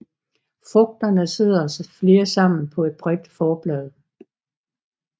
Frugterne sidder flere sammen på et bredt forblad